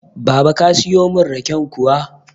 Baba ka siyo mun raken kuwa?